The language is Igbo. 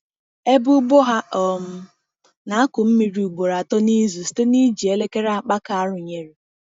Ebe ugbo ha um na-akụ mmiri ugboro atọ n’izu site n’iji elekere akpaka arụnyere.